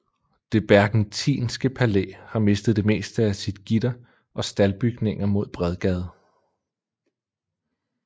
Det Berckentinske Palæ har mistet det meste af sit gitter og staldbygninger mod Bredgade